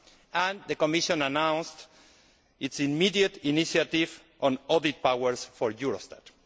and the Commission announced its immediate initiative on audit powers for Eurostat.